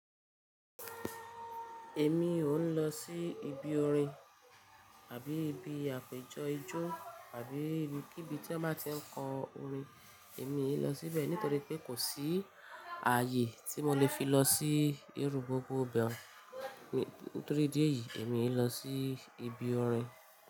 Èmi òún lọ sí ibi orin àbí ibi àpéjọ ijó àbí ibikibi tí wọ́n máa ti ń kọ orin. Èmi ò lọ síbẹ̀ nítorí pé kò sí ààyè tí mo lè fi lọ sí irú gbogbo íbẹ̀. Nítorí idí eyìí èmi òn lọ sí ibi orin.